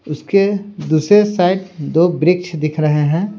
उसके दूसरे साइड दो वृक्ष दिख रहे हैं।